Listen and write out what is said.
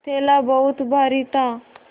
थैला बहुत भारी था